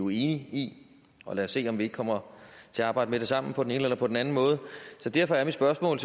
i og lad os se om vi ikke kommer til at arbejde med det sammen på den ene eller på den anden måde derfor er mit spørgsmål